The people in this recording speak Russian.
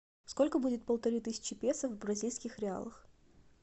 сколько будет полторы тысячи песо в бразильских реалах